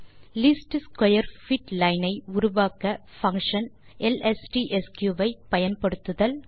least square fit line ஐ உருவாக்க function lstsq ஐ பயன்படுத்துதல்